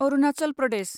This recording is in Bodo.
अरुनाचल प्रदेश